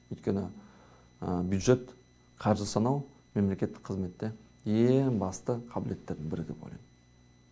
өйткені бюджет қаржы санау мемлекеттік қызметте ең басты қабілеттердің бірі деп ойлаймын